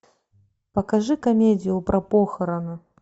покажи комедию про похороны